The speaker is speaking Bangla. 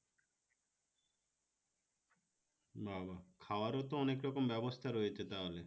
বাবা! খাওয়ার ও তো অনেক রকম ব্যবস্থা রয়েছে তাহলে